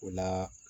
O la